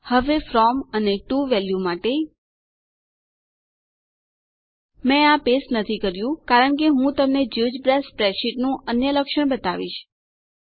હવે ફ્રોમ અને to value માટે મેં આ પેસ્ટ નથી કર્યું કારણ કે હું તમને જિયોજેબ્રા સ્પ્રેડશીટ્સ નું અન્ય લક્ષણ બતાવીશ